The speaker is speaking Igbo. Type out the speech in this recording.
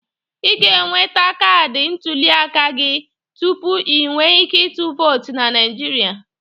Ị ga-enweta kaadị ntụliaka aka gị tupu i nwe ike ịtụ vootu na Naịjirịa.